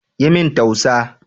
Yi min tausa